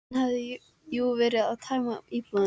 Hann hafði jú verið að tæma íbúðina.